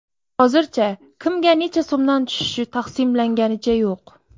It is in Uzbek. Hozircha kimga necha so‘mdan tushishi taqsimlanganicha yo‘q”.